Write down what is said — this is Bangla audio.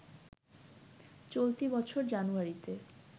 চলতি বছর জানুয়ারিতে